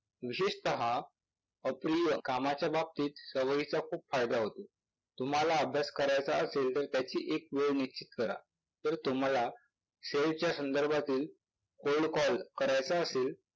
विशेषतः अप्रिय कामाच्या बाबतीत सवयीचा खूप फायदा होतो. तुम्हाला अभ्यास करायचा असेल तर त्याची एक वेळ निश्चित करा. तर तुम्हाला sale च्या संदर्भातील cold call करायचा असेल